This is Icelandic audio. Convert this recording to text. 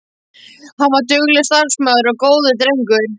Hann var duglegur, starfsamur og góður drengur.